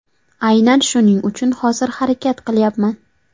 Aynan shuning uchun hozir harakat qilyapman.